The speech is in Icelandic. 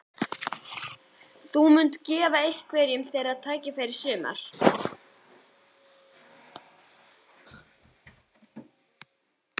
Þú munt gefa einhverjum þeirra tækifæri í sumar?